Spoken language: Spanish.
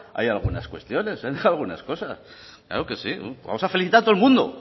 ahí algunas cuestiones han dejado algunas cosas claro que sí vamos a felicitar a